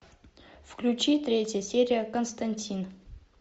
включи третья серия константин